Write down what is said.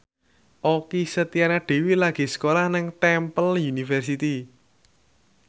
Okky Setiana Dewi lagi sekolah nang Temple University